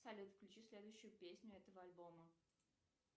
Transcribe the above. салют включи следующую песню этого альбома